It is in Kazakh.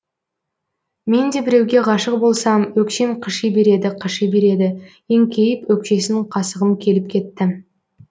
мен де біреуге ғашық болсам өкшем қыши береді қыши береді еңкейіп өкшесін қасығым келіп кетті